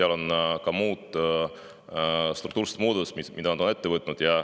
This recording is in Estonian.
Nad on ka muid struktuurseid muudatusi ette võtnud.